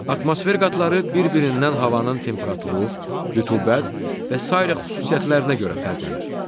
Atmosfer qatları bir-birindən havanın temperaturu, rütubət və sairə xüsusiyyətlərinə görə fərqlənir.